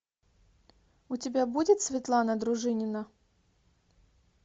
у тебя будет светлана дружинина